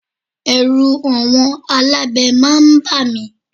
Ẹ̀rù àwọn alábẹ máa ń ba mi.